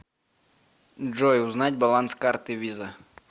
джой узнать баланс карты виза